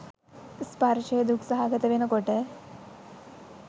ස්පර්ශය දුක් සහගත වෙන කොට